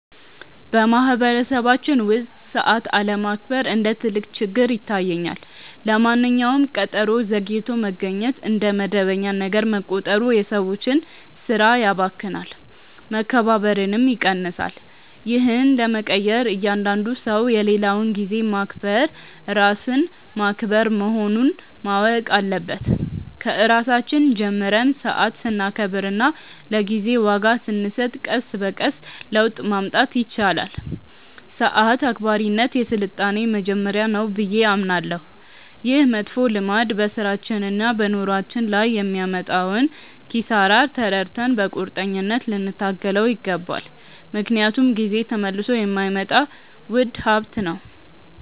በማኅበረሰባችን ውስጥ ሰዓት አለማክበር እንደ ትልቅ ችግር ይታየኛል። ለማንኛውም ቀጠሮ ዘግይቶ መገኘት እንደ መደበኛ ነገር መቆጠሩ የሰዎችን ሥራ ያባክናል፣ መከባበርንም ይቀንሳል። ይህን ለመቀየር እያንዳንዱ ሰው የሌላውን ጊዜ ማክበር ራስን ማክበር መሆኑን ማወቅ አለበት። ከራሳችን ጀምረን ሰዓት ስናከብርና ለጊዜ ዋጋ ስንሰጥ ቀስ በቀስ ለውጥ ማምጣት ይቻላል። ሰዓት አክባሪነት የሥልጣኔ መጀመሪያ ነው ብዬ አምናለሁ። ይህ መጥፎ ልማድ በሥራችንና በኑሯችን ላይ የሚያመጣውን ኪሳራ ተረድተን በቁርጠኝነት ልንታገለው ይገባል፤ ምክንያቱም ጊዜ ተመልሶ የማይመጣ ውድ ሀብት ነው።